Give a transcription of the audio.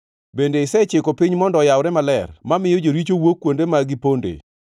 Bende isechiko piny mondo oyawre maler mamiyo joricho wuok kuonde ma gipondoe?